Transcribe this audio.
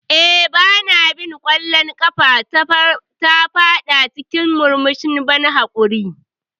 Eh, Ba na bin ƙwallon ƙafa, ta fada cikin murmushin ban haƙuri.